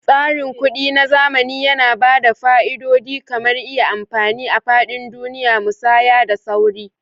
Tsarin kuɗi na zamani yana ba da fa'idodi kamar iya amfani a faɗin duniya, musaya da sauri.